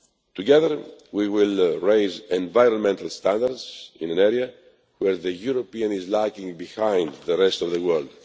Together, we will raise environmental standards in an area in which Europeans are lagging behind the rest of the world.